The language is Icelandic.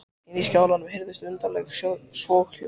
Inni í skálanum heyrðust undarleg soghljóð.